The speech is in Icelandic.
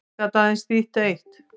Það gat aðeins þýtt eitt.